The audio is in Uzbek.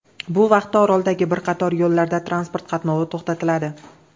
Bu vaqtda oroldagi bir qator yo‘llarda transport qatnovi to‘xtatiladi.